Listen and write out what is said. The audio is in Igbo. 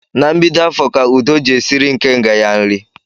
Na mbido afọ ka Udo ji esiri ikenga ya nri